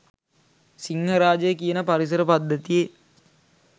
සිංහරාජය කියන පරිසර පද්ධතියෙ